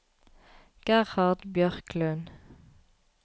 Gerhard Bjørklund